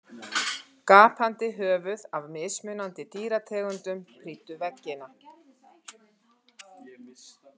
Gapandi höfuð af mismunandi dýrategundum prýddu veggina.